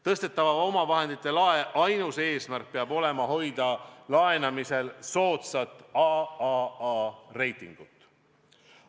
Tõstetava omavahendite lae ainus eesmärk peab olema hoida laenamisel soodsat AAA reitingut.